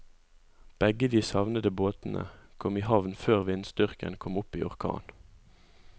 Begge de savnede båtene kom i havn før vindstyrken kom opp i orkan.